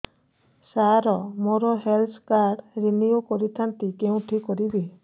ସାର ମୋର health card renew କରିଥାନ୍ତି କେଉଁଠି କରିବି